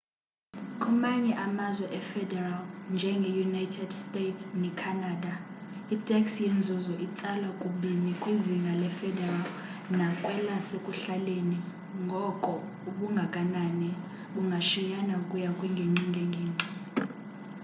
kumanye amazwe efederal njenge united states ne canada itax yenzuzo itsalwa kubini kwizinga le federal nakwelasekuhlaleni ngoko ubungakanani bungashiyana ukuya kwingingqi ngengingqi